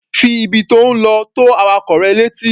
Fi ibi tí ò ń lọ tó awakọ̀ rẹ létí.